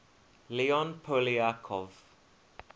leon poliakov